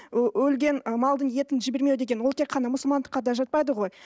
өлген ы малдың етін жібермеу деген ол тек қана мұсылмандыққа да жатпайды ғой